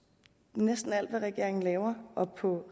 næsten alt hvad regeringen laver og på